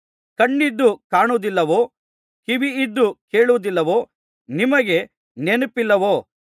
ಕಣ್ಣಿದ್ದು ಕಾಣುವುದಿಲ್ಲವೋ ಕಿವಿಯಿದ್ದು ಕೇಳುವುದಿಲ್ಲವೋ ನಿಮಗೆ ನೆನಪಿಲ್ಲವೋ